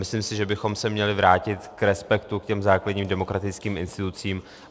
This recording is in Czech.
Myslím si, že bychom se měli vrátit k respektu, k těm základním demokratickým institucím.